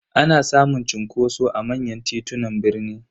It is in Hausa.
Ana samun cunkoso a manyan titunan birni.